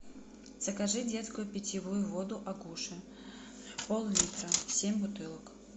закажи детскую питьевую воду агуша пол литра семь бутылок